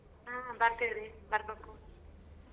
ಹ್ಮ್ ಬರ್ತಿವ್ರೀ ಬರ್ಬೇಕು.